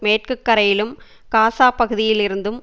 மேற்கு கரையிலும் காசா பகுதியிலிருந்தும்